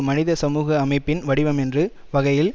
மனித சமூக அமைப்பின் வடிவம் என்ற வகையில்